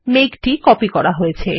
মেঘটি কপি করা হয়েছে